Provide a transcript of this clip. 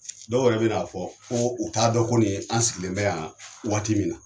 Dɔw yɛrɛ bɛna'a fɔ ko u taa dɔn ko ni an sigilen bɛ yan waati min na.